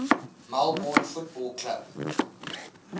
melbourne football club